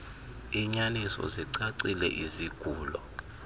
iinyaniso zicacile izigulo